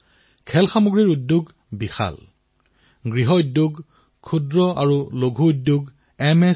এনেকুৱা খেলাসামগ্ৰী যাৰ উপস্থিতিত শৈশৱো উজ্জীৱিত হওক আৰু উদ্ভাসিতও হওক